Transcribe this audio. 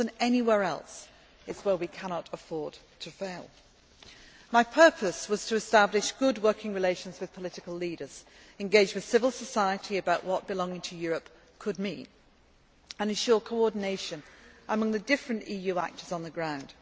More than anywhere else, it is where we cannot afford to fail. My purpose was to establish good working relations with political leaders, engage with civil society about what belonging to Europe could mean, and ensure coordination among the different EU actors on the ground.